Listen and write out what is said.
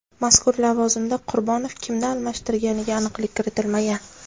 Mazkur lavozimda Qurbonov kimni almashtirganiga aniqlik kiritilmagan.